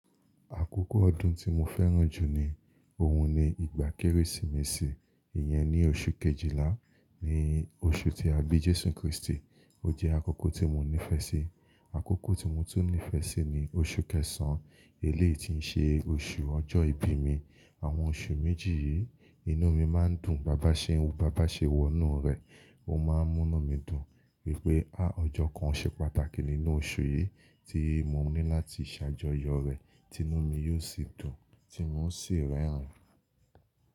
Àkókò ọdún tí mo fẹ́ràn jù ni, ohun ni ìgbà Kérésìmesì, ìyẹn ni oṣù Kejìlá ni oṣù tí a bí Jésù Kristi, o jẹ́ àkókò tí mo nífẹ̀ẹ́ sí. Àkókò tí mo tún nífẹ̀ẹ́ sí ni oṣù kẹsàn-án, eléyi ti ń ṣe oṣù ọjọ́ ìbí mi. Àwọn oṣù méjì yìí, inú mi máa ń dùn, Baba ṣe n, Baba ṣewọ inú rẹ. Ó máa ń mú inú mi dùn wípé há ọjọ́ kan ṣe pàtàkì nínú oṣù yìí tí mo ní láti ṣàjọyọ̀ rẹ̀, tí inú mi yóò sì dùn tí mo sì rẹ́rìn-ín.